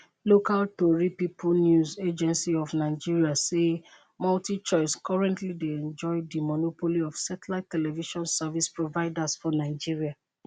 local tori pipo news agency of nigeria say multichoice currently dey enjoy di monopoly of satellite television service providers for nigeria